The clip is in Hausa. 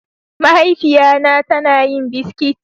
Mahaifiya na ta na yin biskit.